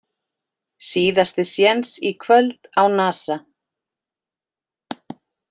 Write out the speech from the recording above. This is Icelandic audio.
Síðasti séns í kvöld á Nasa